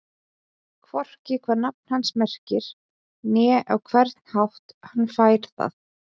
Hvorki hvað nafn hans merkir né á hvern hátt hann fær það.